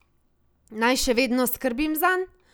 Naj še vedno skrbim zanj?